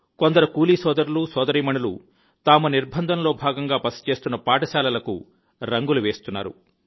కొందరు కూలీ సోదరులు సోదరీమణులు తాము నిర్బంధంలో భాగంగా బస చేస్తున్న పాఠశాలకు రంగులు వేస్తున్నారు